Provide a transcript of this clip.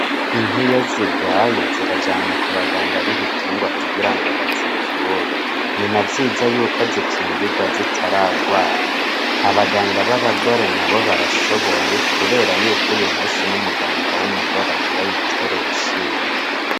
Inkiyo zigwaye zirajanwa ku baganga b'ibitungwa kugira ngo bazivure ni na vyiza yuko zikingirwa zitaragwara abaganga b'abagore na bo barashoboye, kubera yuko uyu musi n'umuganga w'umugore agire ayitere urushinge.